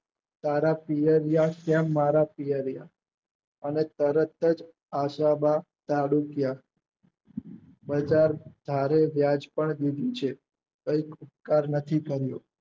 તારા પિયરિયાં તેમ મારા પિયરિયાં અને તરત જ આશા બા જાદુકીયા બજાર ભારે વ્યાજ પણ દીધી છે કઈક ઉપકાર નથી કર્યો.